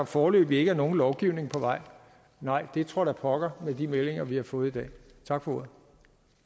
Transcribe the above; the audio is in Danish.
foreløbig ikke er nogen lovgivning på vej nej det tror da pokker med de meldinger vi har fået i dag tak for